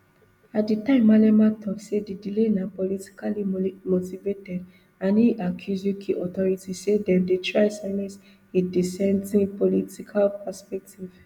at di time malema tok say di delay na politically motivated and e accuse uk authorities say dem dey try silence a dissenting political perspective